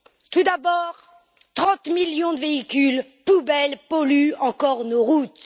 Tout d'abord, 30 millions de véhicules poubelles polluent encore nos routes.